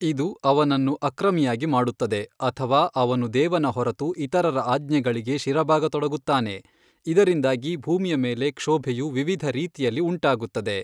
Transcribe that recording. ಇದು ಅವನನ್ನು ಅಕ್ರಮಿಯಾಗಿ ಮಾಡುತ್ತದೆ ಅಥವಾ ಅವನು ದೇವನ ಹೊರತು ಇತರರ ಆಜ್ಞೆಗಳಿಗೆ ಶಿರಬಾಗತೊಡಗುತ್ತಾನೆ ಇದರಿಂದಾಗಿ ಭೂಮಿಯ ಮೇಲೆ ಕ್ಷೋಭೆಯು ವಿವಿಧ ರೀತಿಯಲ್ಲಿ ಉಂಟಾಗುತ್ತದೆ.